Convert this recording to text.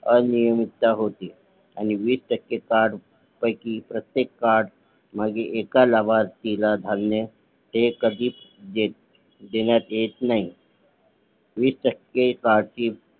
अनियमितता होते आणि वीस टक्के कार्ड पैकी प्रत्येक कार्ड मागे एका लाभार्थीला धान्य हे कधीच देण्यात येत नाही वीस टक्के कार्ड ची